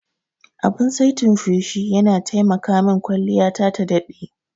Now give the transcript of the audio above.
Abin saitin feshi yana taimaka min kwalliyata ta daɗe.